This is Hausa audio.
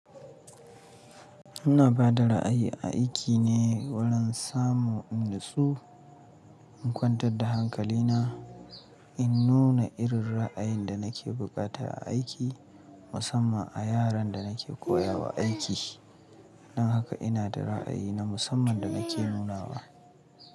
Ina ba da ra'ayi a aiki ne wurin samu in natsu in kwantar da hankali na, in nuna irin ra'ayin da nake bukata a aiki musamman a yaran da nake koya wa aiki. Don haka ina da ra'ayi na musamman da nake nunawa.